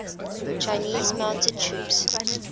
chinese mounted troops